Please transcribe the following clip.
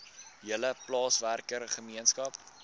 hele plaaswerker gemeenskap